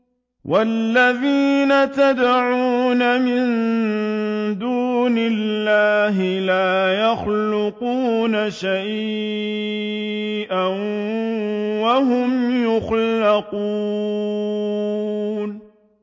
وَالَّذِينَ يَدْعُونَ مِن دُونِ اللَّهِ لَا يَخْلُقُونَ شَيْئًا وَهُمْ يُخْلَقُونَ